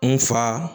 N fa